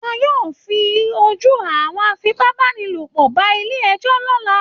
Wọ́n yóò fojú àwọn afipábánilòpọ̀ ba ilé ẹjọ́ lọ́la